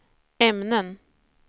ämnen